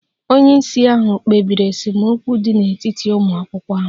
Onye isi ahụ kpebiri esemokwu dị n'etiti ụmụ akwụkwọ ahụ